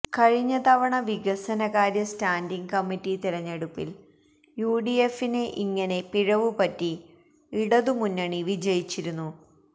കഴിഞ്ഞ തവണ വികസന കാര്യ സ്റ്റാന്റിംഗ് കമ്മിറ്റി തെരഞ്ഞെടുപ്പിൽ യുഡിഎഫിന് ഇങ്ങനെ പിഴവ് പറ്റി ഇടതുമുന്നണി വിജയിച്ചിരുന്നു